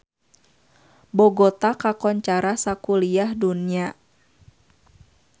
Bogota kakoncara sakuliah dunya